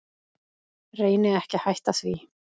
Reyni ekki að hætta því.